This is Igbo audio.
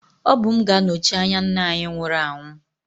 Ọ bụ m ga-anọchi anya nna anyị nwụrụ anwụ